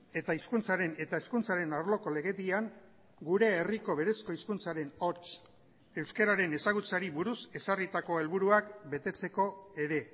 eta hizkuntzaren eta hezkuntzaren arloko legedian gure herriko berezko hizkuntzaren hots euskararen ezagutzari buruz ezarritako helburuak betetzeko ere